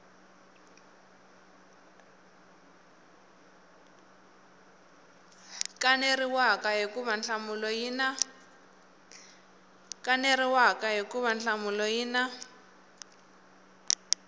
kaneriwaka hikuva nhlamulo yi na